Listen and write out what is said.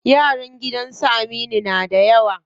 Yaran gidan su Aminu na da yawa.